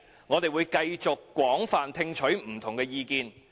我們會繼續廣泛聽取不同的意見。